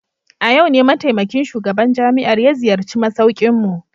A yau ne mataimakin shugaban jami'ar ya ziyarci masaukinmu.